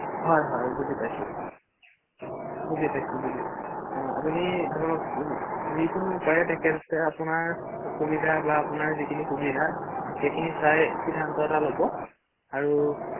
হয় হয় বুজি পাইছো, বুজি পাইছো অ আপুনি ধৰক যি কোনো উপায়ে তেখেতে আপোনাৰ অসুবিধা বা আপোনাৰ যিখিনি সুবিধা সেইখিনি চাই সিদ্ধান্ত এটা ল’ব আৰু ৷